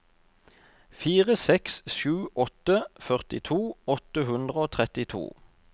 fire seks sju åtte førtito åtte hundre og trettito